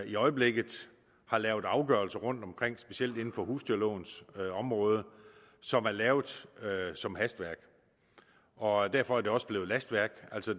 i øjeblikket har lavet afgørelser rundtomkring specielt inden for husdyrlovens område som er lavet som hastværk og derfor er det også blevet lastværk